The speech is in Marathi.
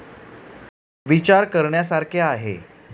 ' विचार करण्यासारखे आहे '